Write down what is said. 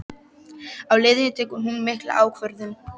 Á leiðinni tekur hún mikla ákvörðun